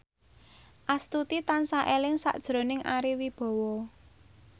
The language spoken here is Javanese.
Astuti tansah eling sakjroning Ari Wibowo